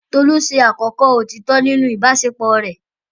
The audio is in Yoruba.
Tolu ṣe àkọ́kọ́ òtítọ́ nínú ìbáṣepọ̀ rẹ̀.